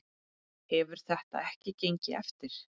Hefur þetta ekki gengið eftir?